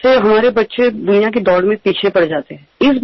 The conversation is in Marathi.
यामुळे जगात आपली मुलं मागे राहतात